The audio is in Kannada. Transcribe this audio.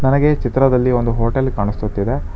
ನನಗೆ ಈ ಚಿತ್ರದಲ್ಲಿ ಒಂದು ಹೋಟೆಲ್ ಕಾಣಿಸುತ್ತಿದೆ.